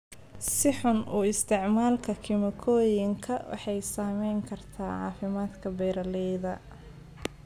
Si xun u isticmaalka kiimikooyinka waxay saameyn kartaa caafimaadka beeralayda.